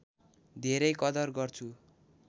धेरै कदर गर्छु